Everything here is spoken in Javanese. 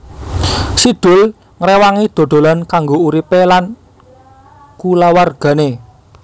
Si Doel ngrewangi dodolan kanggo uripé lan kulawargané